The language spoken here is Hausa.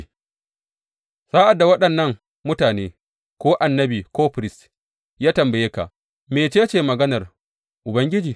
Sa’ad da waɗannan mutane, ko annabi ko firist, ya tambaye ka, Mece ce maganar Ubangiji?’